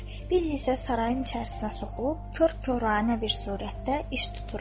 Biz isə sarayın içərisinə soxulub kor-koranə bir surətdə iş tuturuq.